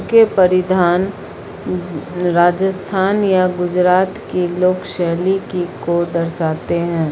यह परिधान राजस्थान या गुजरात के लोक शैली की को दर्शाते हैं।